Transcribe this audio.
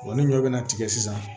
ni ɲɔ bɛ na tigɛ sisan